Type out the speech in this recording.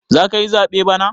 Zakayi zaɓe bana?